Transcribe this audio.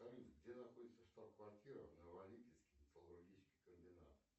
салют где находится штаб квартира новолипецкий металлургический комбинат